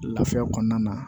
Lafiya kɔnɔna na